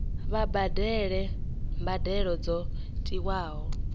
vha badele mbadelo dzo tiwaho